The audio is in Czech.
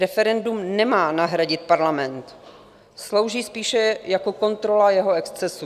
Referendum nemá nahradit parlament, slouží spíše jako kontrola jeho excesů.